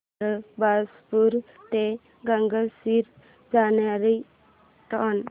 बारबासपुरा ते गंगाझरी जाणारी ट्रेन